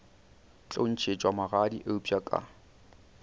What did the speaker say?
tlo ntšhetšwa magadi eupša ka